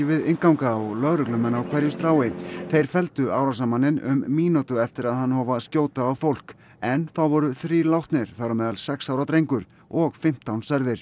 við innganga og lögreglumenn á hverju strái þeir felldu árásarmanninn um mínútu eftir að hann hóf að skjóta á fólk en þá voru þrír látnir þar á meðal sex ára drengur og fimmtán særðir